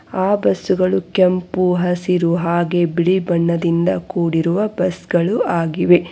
ಆ ಬಸ್ ಗಳು ಕೆಂಪು ಹಸಿರು ಹಾಗೆ ಬಿಳಿ ಬಣ್ಣದಿಂದ ಕೂಡಿರುವ ಬಸ್ ಗಳು ಆಗಿವೆ.